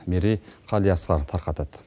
мерей қалиасқар тарқатады